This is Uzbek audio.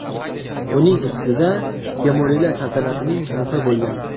Uning ustida Temuriylar saltanatining muhri bo‘lgan.